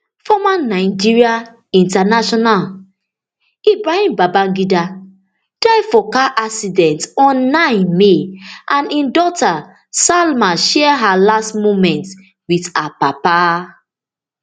former nigeria international ibrahim babangida die for car accident on nine may and im daughter salma share her last moment wit her papa